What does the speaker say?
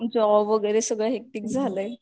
job वगैरे सगळं hectic झालंय